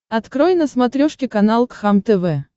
открой на смотрешке канал кхлм тв